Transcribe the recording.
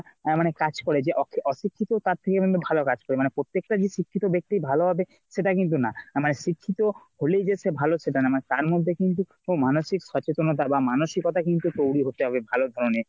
আহ মানে কাজ করে যে অশিক্ষিত তার থেকে মানে ভালো কাজ করে। মানে প্রত্যেকটা যে শিক্ষিত ব্যাক্তি ভালো হবে সেটা কিন্তু না। মানে শিক্ষিত হলেই যে সে ভালো সেটা না মানে তারমধ্যে কিন্তু মানসিক সচেতেনতা বা মানসিকতা কিন্তু তৈরি হবে ভালো ধরণের